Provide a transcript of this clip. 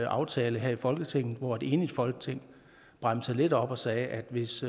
aftale her i folketinget hvor et enigt folketing bremsede lidt op og sagde at hvis